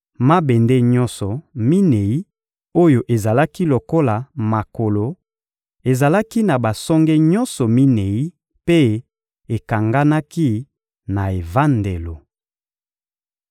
Mabende nyonso minei oyo ezalaki lokola makolo ezalaki na basonge nyonso minei mpe ekanganaki na evandelo.